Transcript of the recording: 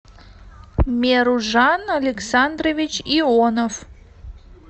меружан александрович ионов